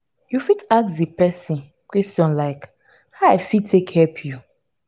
you fit ask di person question like "how i fit take help you? "